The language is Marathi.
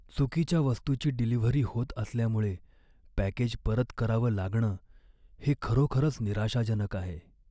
चुकीच्या वस्तूची डिलिव्हरी होत असल्यामुळे पॅकेज परत करावं लागणं हे खरोखरच निराशाजनक आहे.